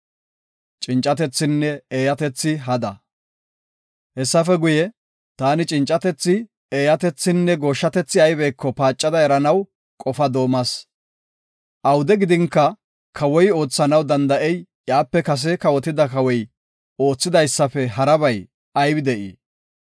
Hessafe guye, taani cincatethi, eeyatethinne gooshshatethi ayibeko paacada eranaw qofaa doomas. Awude gidinka kawoy oothanaw danda7ey iyape kase kawotida kawoy oothidaysafe harabay aybi de7ii?